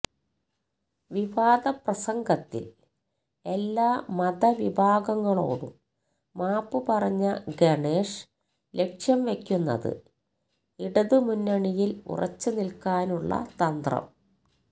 വിവാദപ്രസംഗത്തില് എല്ലാ മത വിഭാഗങ്ങളോടും മാപ്പ് പറഞ്ഞ ഗണേഷ് ലക്ഷ്യം വയ്ക്കുന്നത് ഇടതുമുന്നണില് ഉറച്ചു നില്ക്കാനുള്ള തന്ത്രം